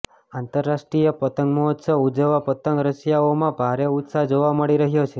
આંતરરાષ્ટ્રીય પતંગમહોત્સવ ઉજવવા પતંગ રસિયાઓમાં ભારે ઉત્સાહ જોવા મળી રહ્યો છે